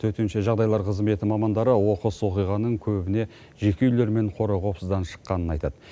төтенше жағдайлар қызметі мамандары оқыс оқиғаның көбіне жеке үйлер мен қора қопсыдан шыққанын айтады